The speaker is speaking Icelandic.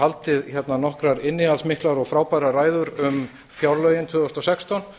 haldið hérna nokkrar innihaldsmiklar og frábærar ræður um fjárlögin tvö þúsund og sextán